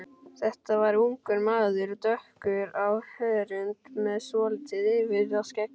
Þetta var ungur maður, dökkur á hörund með svolítið yfirvaraskegg.